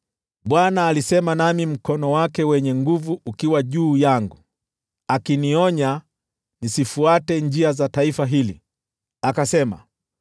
Bwana alisema nami mkono wake wenye nguvu ukiwa juu yangu, akinionya nisifuate njia za taifa hili. Akasema: